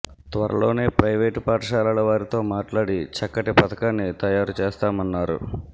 త్వరలోనే ప్రైవేటు పాఠశాలల వారితో మాట్లాడి చక్కటి పథకాన్ని తయారు చేస్తామన్నారు